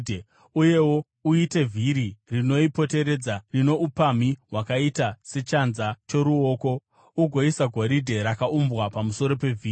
Uyewo uite vhiri rinoipoteredza rino upamhi hwakaita sechanza choruoko ugoisa goridhe rakaumbwa pamusoro pevhiri.